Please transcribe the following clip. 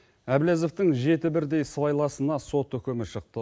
әбләзовтің жеті бірдей сыбайласына сот үкімі шықты